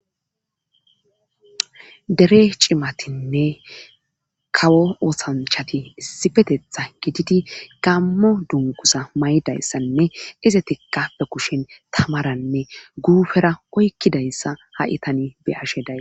Dere cimatinne kawo oosanchati issipetethan gididi gaammo dungguza mayidayssanne Izatikka be kushen tamaranne guufera oykkidayssa ha7i tani be7ashe days.